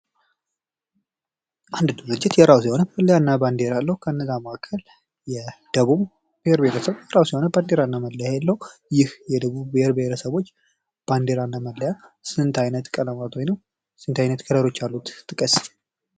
አንድ ብሄር እንግዲህ የራሱ የሆነ መለያ እና ባንዲራ አለው። ከነዚያ መካከል የደቡብ ብሔር ብሄረሰብ የራሱ የሆነ ባንዲራ እና መለያ አለው። ይህ የደቡብ ብሄር ብሄረሰቦች ባንዲራ እና መለያ ስንት አይነት ቀለማቶች አሉት ጥቀስ?